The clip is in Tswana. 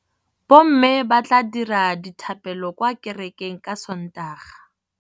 Bommê ba tla dira dithapêlô kwa kerekeng ka Sontaga.